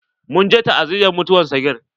Mun je ta'aziyar mutuwan sagir.